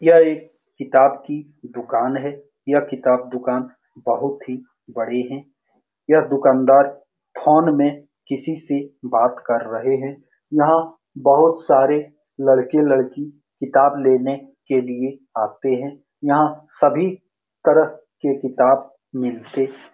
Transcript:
यह एक किताब की दुकान है यह किताब की दुकान बहुत ही बड़ी है यह दुकानदार फ़ोन में किसी से बात कर रहे है यहाँ बहुत सारे लड़के लड़की किताब लेने के लिए आते है यहाँ सभी तरह के किताब मिलते --